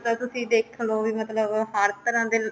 ਤਾਂ ਤੁਸੀਂ ਦੇਖਲੋ ਵੀ ਮਤਲਬ ਹਰ ਤਰ੍ਹਾਂ ਦੇ